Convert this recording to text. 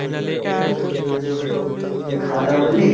খাওয়া দাওয়া করলি?